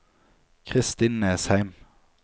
Kristin Nesheim